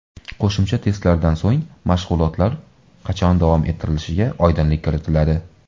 Qo‘shimcha testlardan so‘ng mashg‘ulotlar qachon davom ettirilishiga oydinlik kiritiladi.